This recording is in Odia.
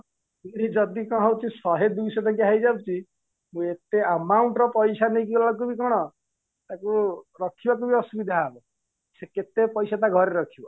ଯଦି କଣ ହଉଚି ଶହେ ଦୁଇଶହ ଟଙ୍କିଆ ହେଇଯାଉଛି ଏତେ amount ର ପଇସା ନେଇକି ଗଲା ବେଳକୁ କଣ ତାକୁ ରଖିବାକୁ ବି ଅସୁବିଧା ହବ ସେ କେତେ ପଇସା ତା ଘରେ ରଖିବ